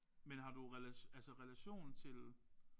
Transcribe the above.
Men har du altså relation til